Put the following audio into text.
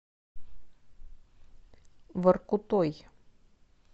воркутой